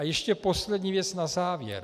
A ještě poslední věc na závěr.